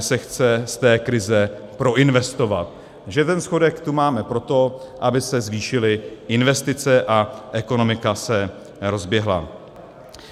se chce z té krize proinvestovat, že ten schodek tu máme proto, aby se zvýšily investice a ekonomika se rozběhla.